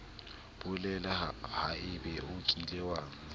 bolela haebe o kile wa